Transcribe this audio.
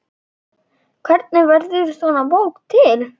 Hvernig verður svona bók til?